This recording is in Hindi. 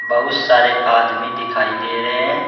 बहुत सारे आदमी दिखाई दे रहे हैं।